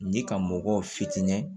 Ni ka mɔgɔw fitinin